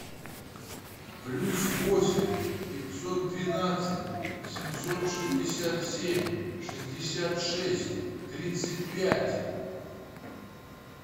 плюс восемь пятьсот двенадцать семьсот шестьдесят семь шестьдесят шесть тридцать пять